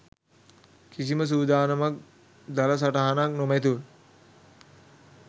කිසිම සූදානමක් දළ සටහනක් නොමැතිව